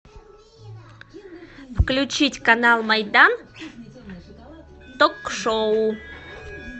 включить канал майдан ток шоу